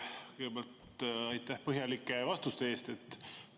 Kõigepealt aitäh põhjalike vastuste eest!